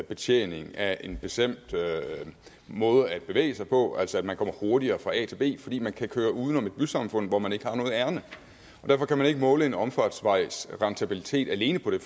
betjening af en bestemt måde at bevæge sig på altså at man kommer hurtigere fra a til b fordi man kan køre uden om et bysamfund hvor man ikke har noget ærinde og derfor kan man ikke måle en omfartsvejs rentabilitet alene på det